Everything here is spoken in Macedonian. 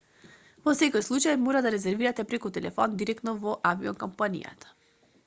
во секој случај мора да резервирате преку телефон директно во авиокомпанијата